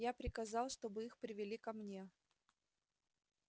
я приказал чтобы их привели ко мне